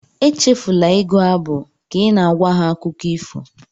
Echefula ịgụ abụ ka ị na-agwa ha akụkọ ifo